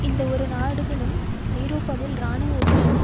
இந்த இரு நாடுகளும் ஐரோப்பாவில் இராணுவ ஒத்துழைப்பு